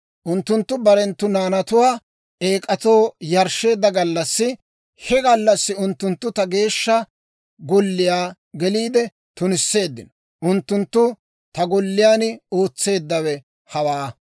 Unttunttu barenttu naanatuwaa eek'atoo yarshsheedda gallassi, he gallassi unttunttu ta Geeshsha Golliyaa geliide tunisseeddino. Unttunttu ta golliyaan ootseeddawe hawaa.